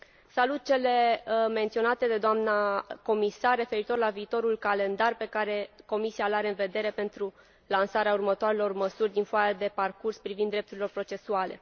Salut aspectele menționate de doamna comisar referitoare la viitorul calendar pe care Comisia îl are în vedere pentru lansarea următoarelor măsuri din Foaia de parcurs privind drepturile procesuale.